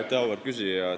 Aitäh, auväärt küsija!